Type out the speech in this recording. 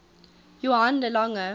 johann de lange